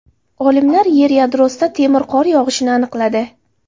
Olimlar Yer yadrosida temir qor yog‘ishini aniqladi.